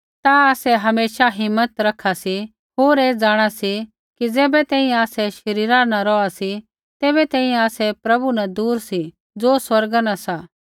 ता आसै हमेशा हिम्मत रखा सी होर ऐ जाँणा सी कि ज़ैबै तैंईंयैं आसै शरीरा न रौहा सी तैबै तैंईंयैं आसै प्रभु न दूर सी ज़ो स्वर्गा न सा